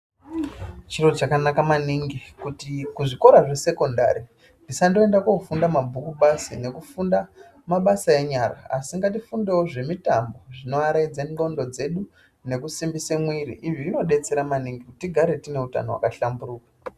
Chiro chakanaka maningi kuti kuzvikora zvesekondari tisangoenda kofunda mabhuku basi nekufunda mabasa enyara asi ngatifundewo zvemitambo zvinoaraidze ndxondo dzedu nekusimbide mwiri izvi zvinodetsera maningi kuti tigare tine utano hwaka hlamburuka.